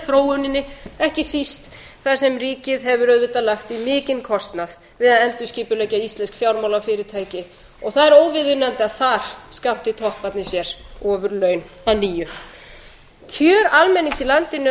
þróuninni ekki síst þar sem ríkið hefur auðvitað lagt í mikinn kostnað við að endurskipuleggja íslensk fjármálafyrirtæki og það er óviðunandi að þar skammti topparnir sér ofurlaun að nýju kjör almennings í landinu